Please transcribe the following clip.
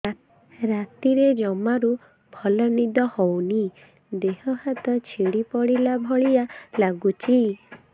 ରାତିରେ ଜମାରୁ ଭଲ ନିଦ ହଉନି ଦେହ ହାତ ଛିଡି ପଡିଲା ଭଳିଆ ଲାଗୁଚି